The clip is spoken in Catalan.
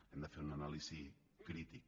hem de fer una anàlisi crítica